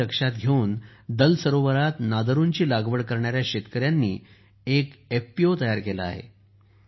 ही मागणी लक्षात घेऊन दल सरोवरात नादरुची लागवड करणाऱ्या शेतकऱ्यांनी एक एफपीओ तयार केला आहे